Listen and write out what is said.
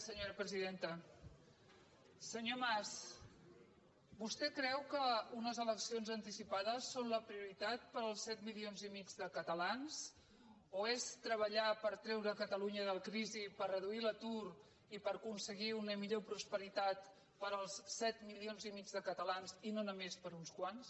senyor mas vostè creu que unes eleccions anticipades són la prioritat per als set milions i mig de catalans o ho és treballar per treu·re catalunya de la crisi per reduir l’atur i per aconse·guir una millor prosperitat per als set milions i mig de catalans i no només per a uns quants